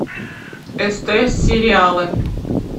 стс сериалы